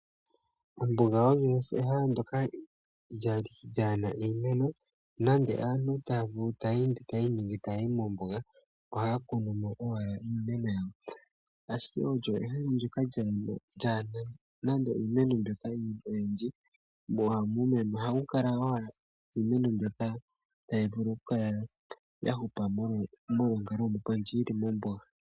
Ombuga oyo ehala ndoka lya li lyaana iimeno, nande aantu taya vulu, taya ende, taya iningi ya kale mombuga, ohayi pumo owala. Ashike olyo ehala ndyoka lyaa na nande iimeno oyindji, mo ohamu kala owala iimeno mbyoka tayi vulu oku kala ya hupa mo molwonkalo ndjoka yili mombuga.